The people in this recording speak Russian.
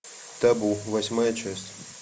табу восьмая часть